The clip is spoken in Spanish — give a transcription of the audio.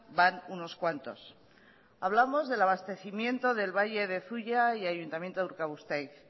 van unos cuantos hablamos del abastecimiento del valle de zuia y ayuntamiento de urkabustaiz